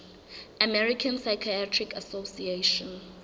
american psychiatric association